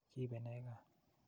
Kiipe ne kaa?